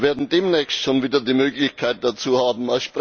Wir werden demnächst schon wieder die Möglichkeit dazu haben.